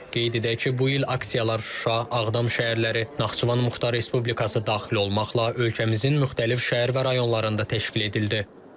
Qeyd edək ki, bu il aksiyalar Şuşa, Ağdam şəhərləri, Naxçıvan Muxtar Respublikası daxil olmaqla, ölkəmizin müxtəlif şəhər və rayonlarında təşkil edildi.